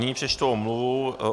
Nyní přečtu omluvu.